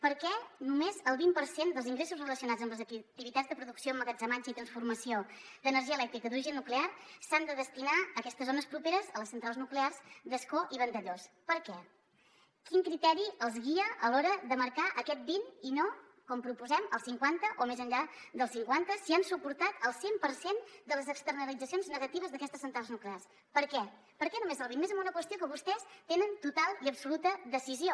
per què només el vint per cent dels ingressos relacionats amb les activitats de producció emmagatzematge i transformació d’energia elèctrica d’origen nuclear s’han de destinar a aquestes zones properes a les centrals nuclears d’ascó i vandellòs per què quin criteri els guia a l’hora de marcar aquest vint i no com proposem el cinquanta o més enllà del cinquanta si han suportat el cent per cent de les externalitzacions negatives d’aquestes centrals nuclears per què per què només el vint i més en una qüestió que vostès hi tenen total i absoluta decisió